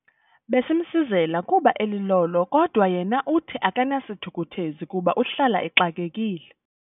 Besimsizela kuba elilolo kodwa yena uthi akanasithukuthezi kuba uhlala exakekile.